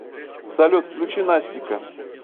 салют включи настика